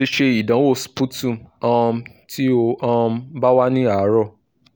o le se idanwo sputum um ti o um ba wa ni aro